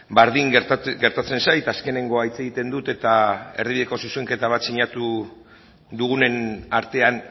berdin gertatzen zait azkenekoa hitz egiten dut eta erdibideko zuzenketa bat sinatu dugunen artean